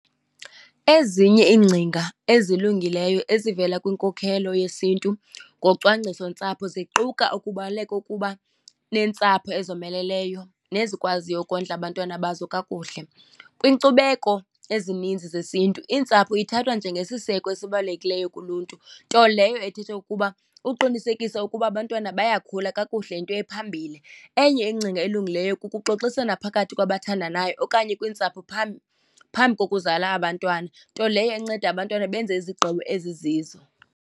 Ezinye iingcinga ezilungileyo ezivela kwinkokhelo yesiNtu ngocwangcisontsapho ziquka ukubaluleka ukuba neentsapho ezomeleleyo nezikwaziyo ukondla abantwana bazo kakuhle. Kwiinkcubeko ezininzi zesintu iintsapho ithathwa njengesiseko esibalulekileyo kuluntu, nto leyo ethetha ukuba uqinisekisa ukuba abantwana bayakhula kakuhle, yinto ephambili. Enye ingcinga elungileyo kukuxoxisana phakathi kwabathandanayo okanye kwiintsapho , phambi kokuzala abantwana, nto leyo enceda abantwana benze izigqibo ezizizo.